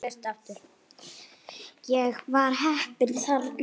Ég var heppinn þarna